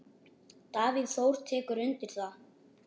Davíð Þór tekur undir það.